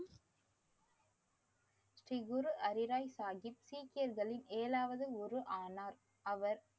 ஸ்ரீகுரு ஹரி ராய் சாஹிப் சீக்கியர்களில் ஏழாவது குரு ஆனார். அவர்,